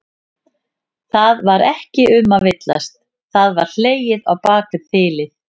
Það var ekki um að villast, það var hlegið á bak við þilið!